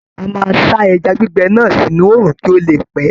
A máa sá ẹja gbígbẹ náà sínú òòrùn kí ó le pẹ́.